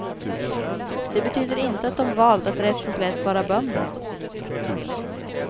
Det betyder inte att de valt att rätt och slätt vara bönder.